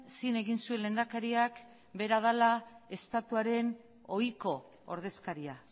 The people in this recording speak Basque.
zin egin zuen lehendakariak bera dela estatuaren ohiko ordezkaria